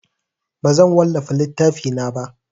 Bazan wallafa littafina ba.